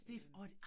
Øh